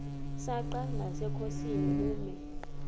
msanqa nasenkosini ubume